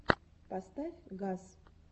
поставь газ